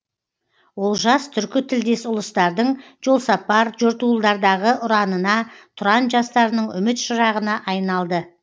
олжас түркі тілдес ұлыстардың жолсапар жортуылдардағы ұранына тұран жастарының үміт шырағына айналды